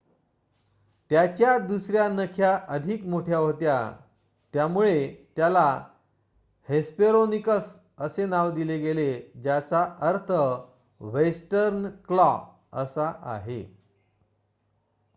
"त्याच्या दुसर्‍या नख्या अधिक मोठ्या होत्या त्यामुळे त्याला हेस्पेरोनिकस असे नाव दिले गेले ज्याचा अर्थ "वेस्टर्न क्लॉ" असा आहे.